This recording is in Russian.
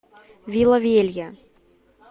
вила велья